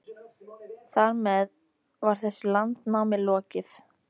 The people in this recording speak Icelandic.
Þar með var þessu landnámi lokið.